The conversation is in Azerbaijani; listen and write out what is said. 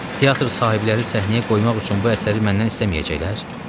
Teatr sahibləri səhnəyə qoymaq üçün bu əsəri məndən istəməyəcəklər?